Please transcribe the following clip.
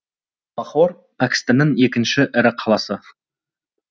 лахор пәкістанның екінші ірі қаласы